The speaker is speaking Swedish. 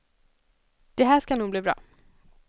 Det här ska nog bli bra.